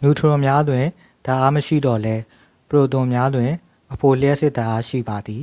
နျူထရွန်များတွင် ဓာတ်အားမရှိသော်လည်း ပရိုတွန်များတွင် အဖိုလျှပ်စစ်ဓာတ်အား ရှိပါသည်